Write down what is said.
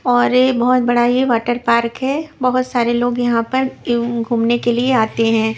और ये बहोत बड़ा ये वाटर पार्क है बहुत सारे लोग यहाँ पर एयू घूमने के लिए आते हैं।